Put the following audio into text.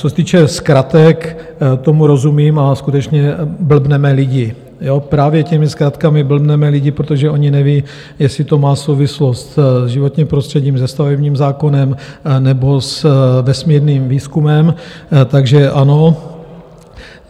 Co se týče zkratek, tomu rozumím, a skutečně blbneme lidi, právě těmi zkratkami blbneme lidi, protože oni nevědí, jestli to má souvislost s životním prostředím, se stavebním zákonem nebo s vesmírným výzkumem, takže ano.